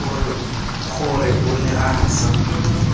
gore o ne a sa